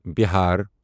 Bihar